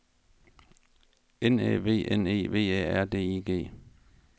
N Æ V N E V Æ R D I G